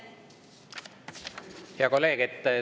Hea kolleeg!